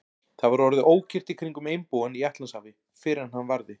Það var orðið ókyrrt í kringum einbúann í Atlantshafi, fyrr en hann varði.